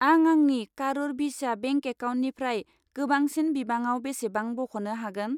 आं आंनि कारुर भिस्या बेंक एकाउन्टनिफ्राय गोबांसिन बिबाङाव बेसेबां बख'नो हागोन?